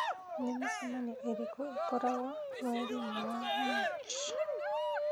nĩ mĩcemanio ĩrĩkũ ĩkoragwo mweri-inĩ wa Machi